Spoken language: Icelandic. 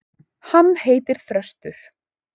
Hann heitir Þröstur.